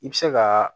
I bɛ se ka